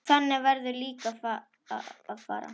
Þannig verður líka að fara.